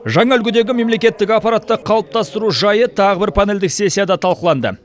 жаңа үлгідегі мемлекеттік аппаратты қалыптастыру жайы тағы бір панельдік сессияда талқыланды